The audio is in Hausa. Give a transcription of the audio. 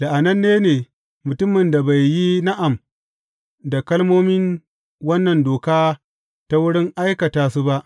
La’ananne ne mutumin da bai yi na’am da kalmomin wannan doka ta wurin aikata su ba.